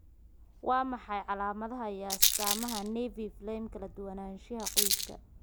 Waa maxay calaamadaha iyo astaamaha Nevi flammei, kala duwanaanshaha qoyska?